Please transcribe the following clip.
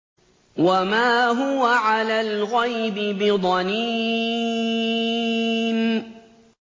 وَمَا هُوَ عَلَى الْغَيْبِ بِضَنِينٍ